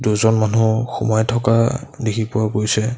দুজন মানুহ সোমাই থকা দেখি পোৱা গৈছে।